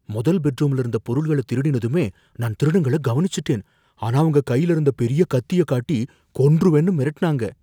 மொதல் பெட்ரூம்ல இருந்த பொருள்கள திருடிருனதுமே நான் திருடங்கள கவனிச்சுட்டேன், ஆனா அவங்க கையில இருந்த பெரிய கத்திய காட்டி கொன்றுவேன்னு மிரட்டுனாங்க